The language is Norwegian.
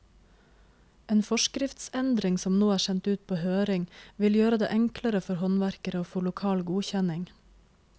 En forskriftsendring som nå er sendt ut på høring, vil gjøre det enklere for håndverkere å få lokal godkjenning.